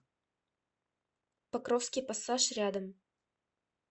покровский пассаж рядом